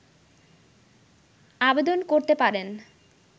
আবেদন করতে পারেন